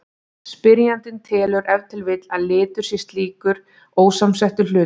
Spyrjandinn telur ef til vill að litur sé slíkur ósamsettur hlutur.